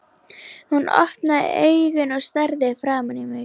Hún opnaði augun og starði framan í mig.